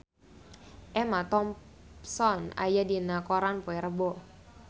Emma Thompson aya dina koran poe Rebo